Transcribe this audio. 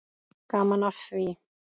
Gaman af því.